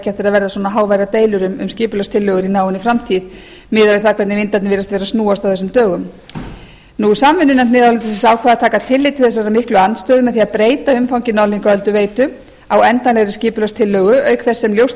ekki eftir að verða svona háværar deilur um skipulagstillögur í náinni framtíð miðað við það hvernig vindarnir virðast vera að snúast á þessum dögum samvinnunefnd miðhálendisins ákvað að taka tillit til þessarar miklu andstöðu með því að breyta umfangi norðlingaölduveitu á endanlegri skipulagstillögu auk þess sem ljóst